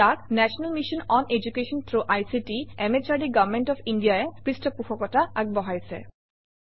ইয়াক national mission on education through ICT MHRD government of India ই পৃষ্ঠপোষকতা আগবঢ়াইছে